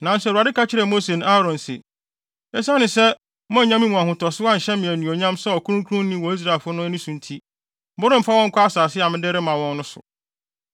Nanso Awurade ka kyerɛɛ Mose ne Aaron se, “Esiane sɛ moannya me mu ahotoso anhyɛ me anuonyam sɛ ɔkronkronni wɔ Israelfo no ani so nti, moremfa wɔn nkɔ asase a mede rema wɔn no so.”